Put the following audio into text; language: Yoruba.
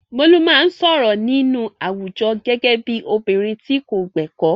Bolu máa ń sọ̀rọ̀ nínú àwùjọ gẹ́gẹ́ bí obìnrin tí kò gbẹ̀kọ́.